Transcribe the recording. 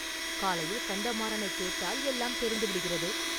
காலையில் கந்தமாறனைக் கேட்டால், எல்லாம் தெரிந்துவிடுகிறது.